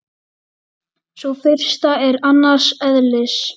Sú fyrsta er annars eðlis.